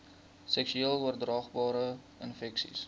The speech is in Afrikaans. seksueel oordraagbare infeksies